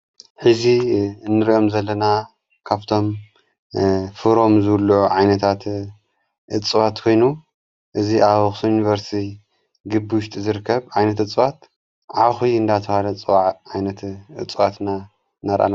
ሕዚ እንርኦም ዘለና ካብቶም ፍሮም ዘብሉዑ ዓይነታት እጽዋት ኮይኑ እዙ ኣብ አኽሱም ዩንቨርስቲ ግቢ ውሽጢ ዝርከብ ዓይነት እጽዋት ዓኹ እንዳተውሃለ ፅዋዕ ዓይነቲ እፅዋትና ነራእና